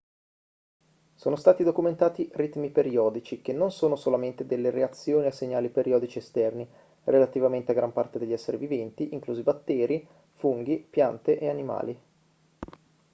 sono stati documentati ritmi periodici che non sono solamente delle reazioni a segnali periodici esterni relativamente a gran parte degli esseri viventi inclusi batteri funghi piante e animali